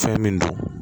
Fɛn min don